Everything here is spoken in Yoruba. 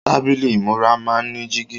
Tábílì ìmúra máa ń ní jígí.